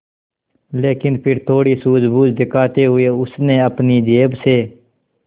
लेकिन फिर थोड़ी सूझबूझ दिखाते हुए उसने अपनी जेब से